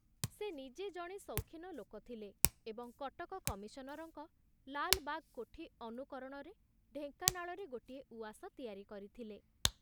ସେ ନିଜେ ଜଣେ ସୌଖୀନ ଲୋକ ଥିଲେ ଏବଂ କଟକ କମିଶନରଙ୍କ ଲାଲବାଗ କୋଠି ଅନୁକରଣରେ ଢେଙ୍କାନାଳରେ ଗୋଟିଏ ଉଆସ ତିଆରି କରିଥିଲେ।